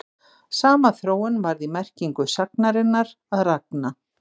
Sama þróun varð í merkingu sagnarinnar að ragna.